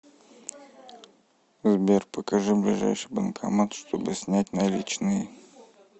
сбер покажи ближайший банкомат чтобы снять наличные